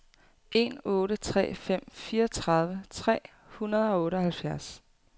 en otte tre fem fireogtredive tre hundrede og otteoghalvfjerds